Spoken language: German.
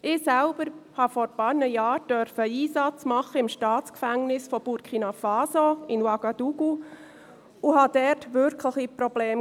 Ich selbst durfte vor einigen Jahren einen Einsatz im Staatsgefängnis von Burkina Faso in Ouagadougou machen und sah dort wirkliche Probleme.